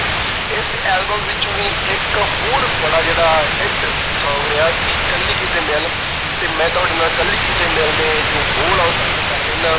ਇਸ album ਵਿੱਚੋਂ ਹੀ ਇੱਕ ਹੋਰ ਬੜਾ ਜਿਹੜਾ hit song ਰਿਹਾ ਸੀ, ਕੱਲੀ ਕਿਤੇ ਮਿਲ ਤੇ ਮੈਂ ਤੁਹਾਡੇ ਨਾਲ ਕੱਲੀ ਕਿਤੇ ਮਿਲ ਦੇ ਜੋ ਬੋਲ ਆ ਉਹ ਸਾਂਝੇ ਕਰ ਲੈਂਦਾ।